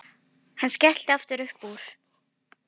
Hann skellti aftur upp úr.